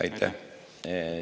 Aitäh!